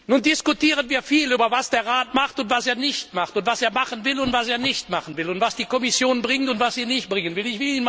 Nun diskutieren wir viel darüber, was der Rat macht und was er nicht macht und was er machen will und was er nicht machen will und was die Kommission bringt und was sie nicht bringen will.